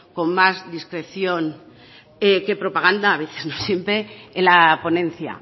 con más discreción que propaganda a veces no siempre en la ponencia